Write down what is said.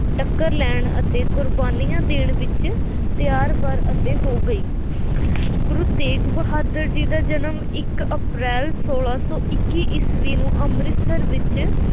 ਟੱਕਰ ਲੈਣ ਅਤੇ ਕੁਰਬਾਨੀਆਂ ਦੇਣ ਵਿੱਚ ਤਿਆਰ-ਬਰ ਅਤੇ ਹੋ ਗਈ ਗੁਰੂ ਤੇਗ ਬਹਾਦਰ ਜੀ ਦਾ ਜਨਮ ਇੱਕ ਅਪ੍ਰੈਲ ਸੌਲਾ ਸੌ ਇੱਕੀ ਈਸਵੀ ਨੂੰ ਅੰਮ੍ਰਿਤਸਰ ਵਿੱਚ